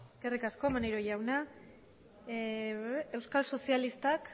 eskerrik asko maneiro jauna euskal sozialistak